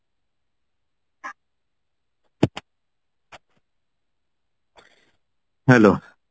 hello